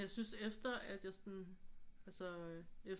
Jeg synes efter at jeg sådan altså